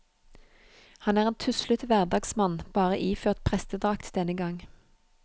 Han er en tuslete hverdagsmann, bare iført prestedrakt denne gang.